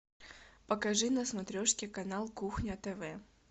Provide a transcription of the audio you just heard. покажи на смотрешке канал кухня тв